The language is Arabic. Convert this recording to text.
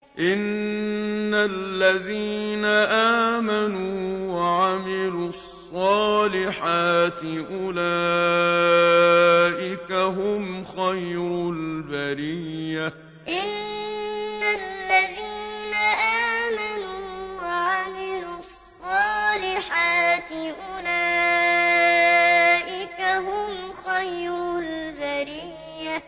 إِنَّ الَّذِينَ آمَنُوا وَعَمِلُوا الصَّالِحَاتِ أُولَٰئِكَ هُمْ خَيْرُ الْبَرِيَّةِ إِنَّ الَّذِينَ آمَنُوا وَعَمِلُوا الصَّالِحَاتِ أُولَٰئِكَ هُمْ خَيْرُ الْبَرِيَّةِ